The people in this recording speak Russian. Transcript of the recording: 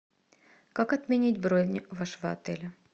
как отменить бронь вашего отеля